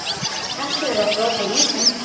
Kannski hefur það brotið ísinn.